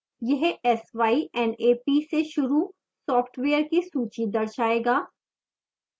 यह s y n a p से शुरू सॉफ्टवेयर की सूची दर्शाएगा